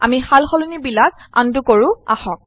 আমি সালসলনিবিলাক আন্ডু কৰো আহক